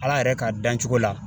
Ala yɛrɛ ka dancogo la